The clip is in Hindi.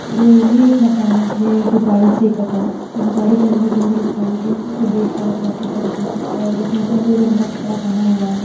ये यह एक मकानिक है। जो गाड़ी सही कर रहा है सब गाड़ी के अंदल बंदल खोल के उसे देख रहा है प्रॉपर तरीकेसे और इसने सफ़ेद रंग का कपड़ा पहना हुआ है।